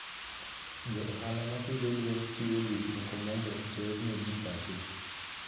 Jo ohala ma pidho gwen chiwo gik moko mondo oter ne ji pacho.